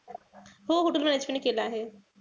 हो hotel management केलं आहे.